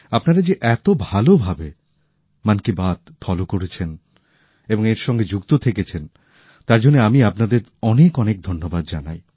আপনারা যে এত ভালোভাবে মন কি বাত শুনে আসছেন এবং এর সঙ্গে যুক্ত থেকেছেন তার জন্য আমি আপনাদের অনেক অনেক ধন্যবাদ জানাই